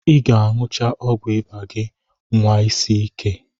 Ị ga-aṅụcha ọgwụ ịba gị, nwa isi ike.